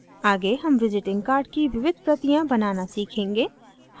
आगे हम visiting card की विविध प्रतियाँ बनाना सीखेंगे